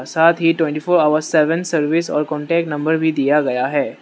साथ ही twenty four hour seven service और कांटेक्ट नंबर भी दिया गया है।